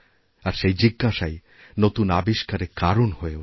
আরসেই জিজ্ঞাসাই নতুন আবিষ্কারের কারণ হয়ে ওঠে